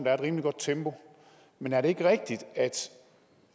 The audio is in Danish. er et rimelig godt tempo men er det ikke rigtigt